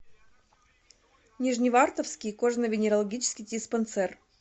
нижневартовский кожно венерологический диспансер